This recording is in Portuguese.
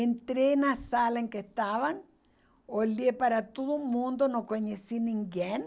Entrei na sala em que estavam, olhei para todo mundo, não conheci ninguém.